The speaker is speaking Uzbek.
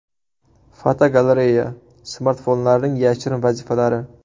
Fotogalereya: Smartfonlarning yashirin vazifalari.